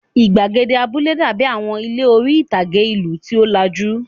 Ìgbàgede abúlé dàbí àwọn ilé orí-ìtàgé ìlú tí ó lajú.